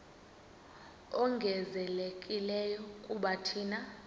ongezelelekileyo kuba thina